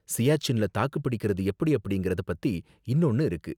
சியாச்சின்ல தாக்குபிடிக்கறது எப்படி அப்படிங்கறத பத்தி இன்னொன்னு இருக்கு.